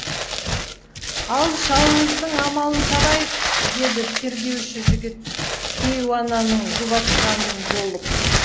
ал шалыңыздың амалын табайық деді тергеуші жігіт кейуананы жұбатқан болып